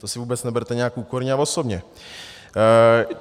To si vůbec neberte nějak úkorně a osobně.